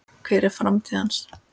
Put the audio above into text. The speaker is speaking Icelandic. Hver er framtíð hans?